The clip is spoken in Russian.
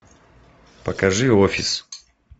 покажи офис